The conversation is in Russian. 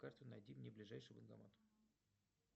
карта найди мне ближайший банкомат